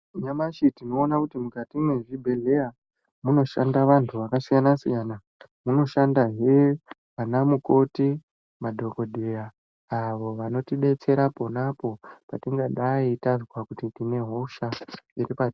Nyamashi tinoona kuti mukati mwezvibhehleya munoshanda vantu vakasiyana-siyana, munoshandahe vana mukoti, madhokodheya avo vanotidetsera ponapo patingadai tazwa kuti tine hosha iripa.